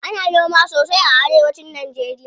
Ana noma sosai a arewa cin najeriya.